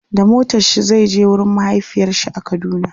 da motarshi Zai je wurin mahaifiyarshi a kaduna